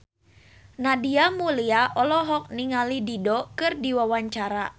Nadia Mulya olohok ningali Dido keur diwawancara